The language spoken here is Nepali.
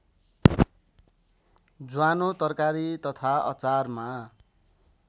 ज्वानो तरकारी तथा अचारमा